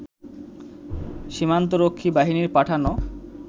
সীমান্তরক্ষী বাহিনীর পাঠানো